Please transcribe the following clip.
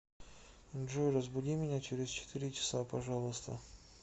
джой разбуди меня через четыре часа пожалуйста